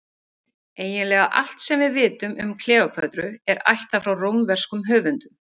Eiginlega allt sem við vitum um Kleópötru er ættað frá rómverskum höfundum.